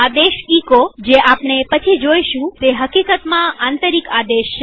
આદેશ એચો જે આપણે પછી જોઈશું તે હકીકતમાં આંતરિક આદેશ છે